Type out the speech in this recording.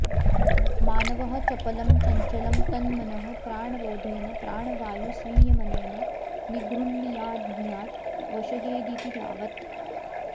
मानवः चपलं चञ्चलं तन्मनः प्राणरोधेन प्राणवायुसंयमनेन निगृह्णीयाध्नीयात् वशयेदिति यावत्